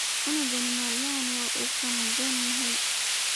Canugani maalmaxan wuu qaan gaadhay